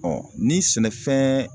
ni sɛnɛfɛn